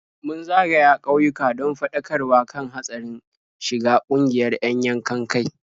Mun zagaya ƙauyuka don faɗakarwa kan hatsarin shiga ƙungiyar 'yan yankan-kai.